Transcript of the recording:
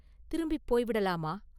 திரும்பிப் போய் விடலாமா?